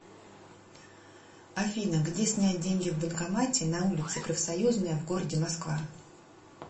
афина где снять деньги в банкомате на улице профсоюзная в городе москва